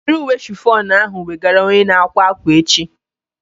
Were uwe shifọnu ahu wegara onye na-akwa ákwà echi!